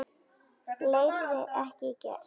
Fleiri ekki gert.